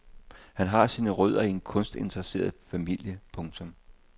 Han har sine rødder i en kunstinteresseret familie. punktum